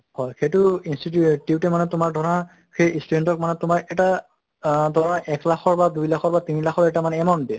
হয় সেইটো institute এহ tube মানে তোমাৰ ধৰা সেই student ক মানে তোমাৰ এটা আহ ধৰা এক লাখৰ বা দুই লাখৰ বা তিনি লাখৰ এটা মানে amount দিয়া